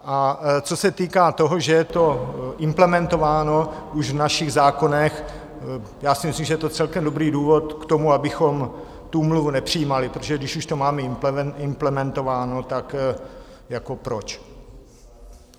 A co se týká toho, že je to implementováno už v našich zákonech, já si myslím, že je to celkem dobrý důvod k tomu, abychom tu úmluvu nepřijímali, protože když už to máme implementováno, tak jako proč!